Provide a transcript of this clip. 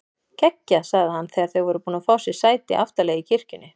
Geggjað sagði hann þegar þau voru búin að fá sér sæti aftarlega í kirkjunni.